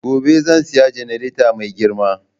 Gobe zan saya jannareta mai girma.